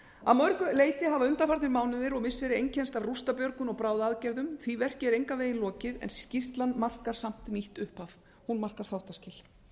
að mörgu leyti hafa undanfarnir mánuðir og missiri einkennst af rústabjörgun og bráðaaðgerðum því verki er engan veginn lokið en skýrslan markar samt nýtt upphaf hún markar þáttaskil